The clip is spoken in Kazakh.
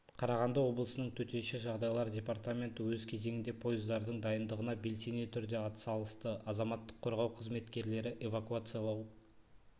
қарағанды облысының төтенше жағдайлар департаменті өз кезегінде пойыздардың дайындығына белсене түрде атсалысты азаматтық қорғау қызметкерлері эвакуациялау